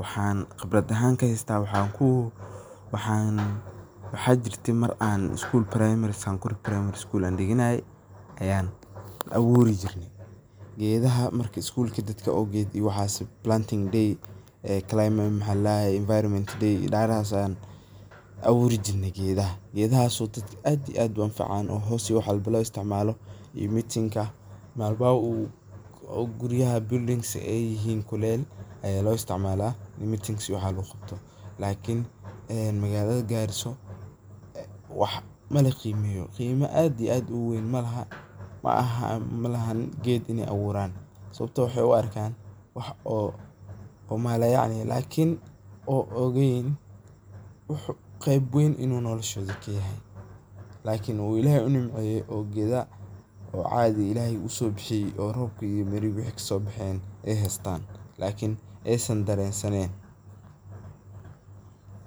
waxan khibrad ahan ka heysta maar an schoolka Primary, Sankuri Primary School diganaye ayan aburi jirne ,gedaha ,marka schoolka waad oged marki oo Planting day , Environment day dararahasan aburi jirne gedaha , gedahaso dadka aad iyo aad u anfacan oo wax walbo lo isticmalo, hoska iyo meetingka, malmaha guryaha buildings ay yihin kuleyl aya loo isticmala ini meetings iyo waxa lagu qabto, lakin magalada Garissa mala qimeyo waax qimo aad iyo aad u weyn malaha, malahan geed iney aburan ,sababto ah wax oo mala yacni u arkan lakin maogan ini qimo weyn noloshodha kayahay , lakin uu Ilahey u nimceye oo gedaha u Ilahey usoo bixiye oo robka iyo wixi kaso baxay as heystan lakin aysan daren sanen.